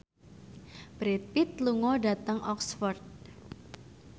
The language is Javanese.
Brad Pitt lunga dhateng Oxford